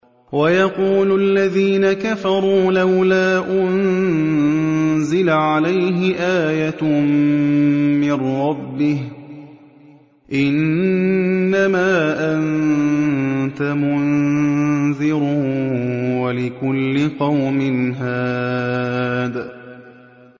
وَيَقُولُ الَّذِينَ كَفَرُوا لَوْلَا أُنزِلَ عَلَيْهِ آيَةٌ مِّن رَّبِّهِ ۗ إِنَّمَا أَنتَ مُنذِرٌ ۖ وَلِكُلِّ قَوْمٍ هَادٍ